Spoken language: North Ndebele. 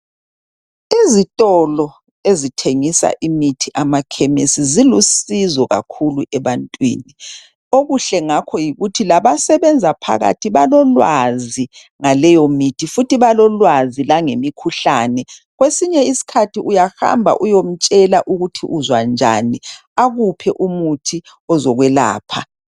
Izitolo ezithengisa imithi amakhemisi zilusizo kakhulu ebantwini. Okuhle ngakho yikuthi labasebenza phakathi balolwazi ngaleyomithi futhi balolwazi langemikhuhlane. Kwesinye isikhathi uyahamba uyemtshela ukuthi uzwanjani akuphe umuthi ozokwelapha.